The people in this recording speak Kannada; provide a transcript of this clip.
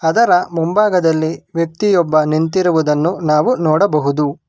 ಅದರ ಮುಂಭಾಗದಲ್ಲಿ ವ್ಯಕ್ತಿಯೊಬ್ಬ ನಿಂತಿರುವುದನ್ನು ನಾವು ನೋಡಬಹುದು.